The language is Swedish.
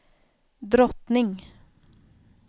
drottning